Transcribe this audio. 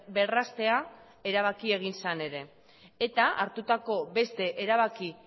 berraztea erabaki egin zen ere eta hartutako beste erabaki